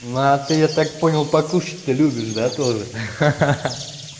на ты я так понял покушать-то любишь да тоже ха ха ха